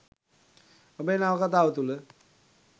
ඔබේ නවකතාව තුළ